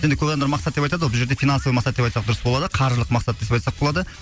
енді көп адамдар мақсат деп айтады ғой бұл жерде финансовый мақсат деп айтсақ дұрыс болады қаржылық мақсат деп айтсақ болады